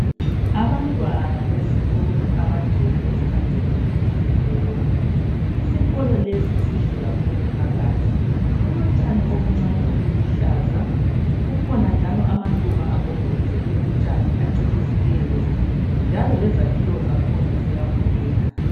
Abantwana besikolo abagcwele emagcekeni esikolo. Isikolo lesi sihle kakhulu phakathi . Kulotshani obuncane obuluhlaza .Kukhona njalo amaluba agombolozele utshani acecisileyo . Njalo lezakhiwo zakhona ziyabukeka .